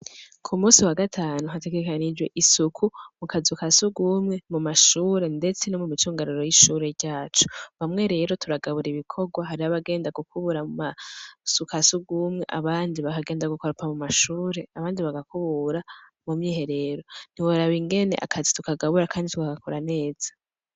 Ku munsi wagatanu hategekanijwe isuku mukazu kasugumwe, mu mashure ndetse no mu micungararo y'ishure ryacu ,bamwe rero turagabura ibikorwa hariha abagenda gukubura mu kazu kasugumwe, abandi baragenda gukoropa mu mashure, abandi bagakubura mu myiherero ,ntiworaba ingene akazi tukagabura kandi tukagakora neza.